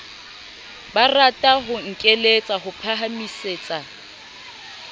barata ho nkeletsa ho phahamisetsa